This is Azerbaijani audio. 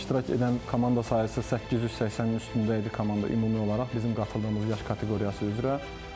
İştirak edən komanda sahəsi 880-in üstündə idi komanda ümumi olaraq bizim qatıldığımız yaş kateqoriyası üzrə.